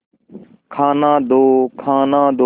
खाना दो खाना दो